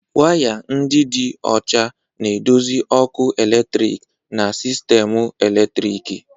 Waya ndị dị ọcha na-eduzi ọkụ eletrik na sistemu eletriki.